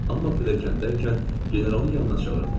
Amma pilləkəndəykən generalın yanına çağırdılar.